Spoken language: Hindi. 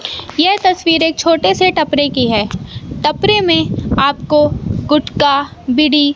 यह तस्वीर एक छोटे से टपरे की है टपरे में आपको गुटका बीड़ी--